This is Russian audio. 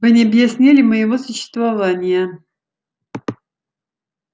вы не объяснили моего существования